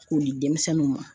K'o di denmisɛnnuw ma